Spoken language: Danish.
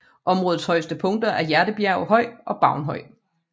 Områdets højeste punkter er Hjertebjerg Høj og Baun Høj